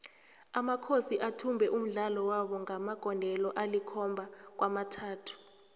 amakhosi athumbe umdlalo wabo ngamagondelo alikhomaba kwamathathu